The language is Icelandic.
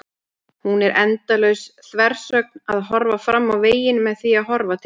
Hún er endalaus þversögn: að horfa fram á veginn með því að horfa til baka.